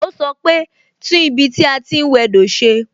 O sọ pe "tún ibi tí a ti ń wẹ do ṣe"